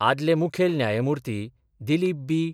आदले मुखेल न्यायमुर्ती दिलीप बी.